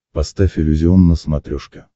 поставь иллюзион на смотрешке